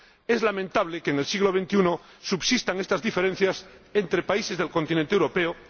Es lamentable que en el siglo XXI subsistan estas diferencias entre países del continente europeo.